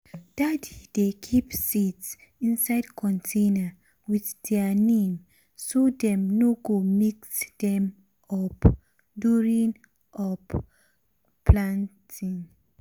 daddy um dey keep seeds um inside container with their name so dem no go mix them up during um up during um planting.